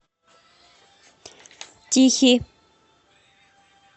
тихий